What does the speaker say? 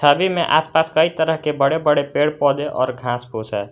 नदी में आस पास कई तरह के बड़े बड़े पेड़ पौधे और घास फूस हैं।